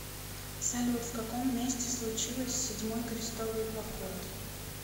салют в каком месте случилось седьмой крестовый поход